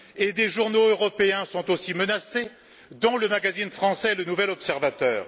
Et des journaux européens sont aussi menacés, dont le magazine français Le Nouvel Observateur